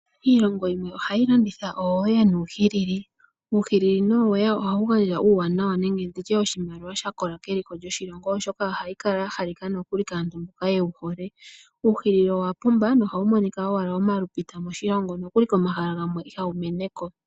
Iilongo yimwe ohayi landitha ooweya nuuhilili. Uuhilili nooweya ohawu gandja uuwanawa nenge ndi tye oshimaliwa sha kola keliko lyoshilongo, oshoka ohayi kala ya halika kaantu mboka yewu hole. Uuhilili owa pumba nohawu monika owala omalupita moshilongo, nokuli komahala gamwe ihawu mene ko.